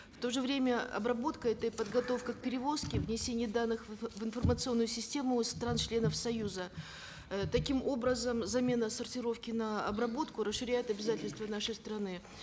в то же время обработка это и подготовка к перевозке внесение данных в информационную систему стран членов союза э таким образом замена сортировки на обработку расширяет обязательства нашей страны